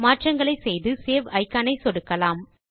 மாற்றங்களை செய்து save icon ஐ சொடுக்கவும்